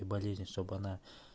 болезнь чтобы она